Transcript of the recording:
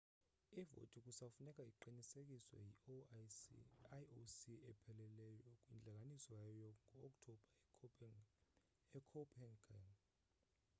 ivoti kusafuneka iqinisekiswe yi-ioc epheleleyo kwintlanganiso yayo ngo-oktobha ecopenhagen